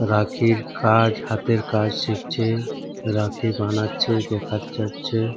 রাখির কাজ হাতের কাজ শিখছে রাখি বানাচ্ছে দেখা যাচ্ছে ।